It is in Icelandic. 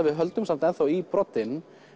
við höldum samt í broddinn